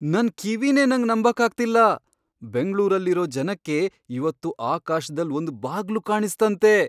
ನನ್ ಕಿವಿನೇ ನಂಗ್ ನಂಬಕ್ಕಾಗ್ತಿಲ್ಲ! ಬೆಂಗ್ಳೂರಲ್ಲಿರೋ ಜನಕ್ಕೆ ಇವತ್ತು ಆಕಾಶ್ದಲ್ ಒಂದ್ ಬಾಗ್ಲು ಕಾಣಿಸ್ತಂತೆ!